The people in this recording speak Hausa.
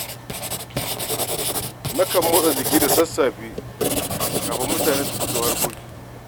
Nakan motsa jiki da sassafe, kafin mutane su fito harkokinsu.